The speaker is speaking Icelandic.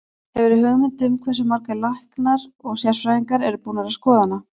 Hefurðu hugmynd um hversu margir læknar og sérfræðingar eru búnir að skoða hana?